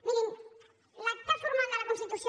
mirin l’acte formal de la constitució